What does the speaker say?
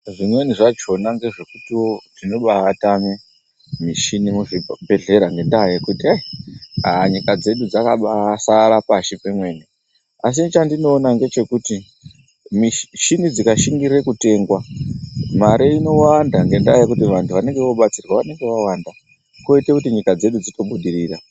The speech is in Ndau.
Zvimweni zvachona ngezvekutiwo zvinobaye tame mishini muzvibhedhlera ngendaa yekuti reyi haa nyika dzedu dzakambaisara pashi pemene asi chandinoona ndechekuti mishini dzingashingirirwe kutengwa mare inowanda ngendaa yokuti vanhu vanenge vobatsirwa vanenge vakwanda koite kuti nyika dzedu dzitobudirira.